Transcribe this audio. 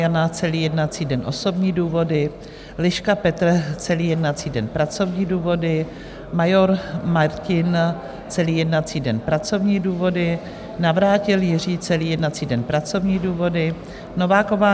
Jana celý jednací den - osobní důvody, Liška Petr celý jednací den - pracovní důvody, Major Martin celý jednací den - pracovní důvody, Navrátil Jiří celý jednací den - pracovní důvody, Nováková